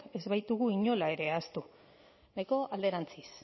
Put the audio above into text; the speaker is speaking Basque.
ez baitugu inola ere ahaztu nahiko alderantziz